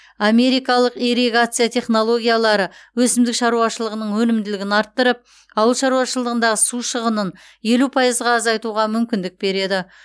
америкалық ирригация технологиялары өсімдік шаруашылығының өнімділігін арттырып ауыл шаруашылығындағы су шығынын елу пайызға азайтуға мүмкіндік береді